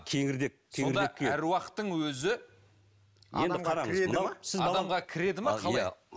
кеңірдек сонда аруақтың өзі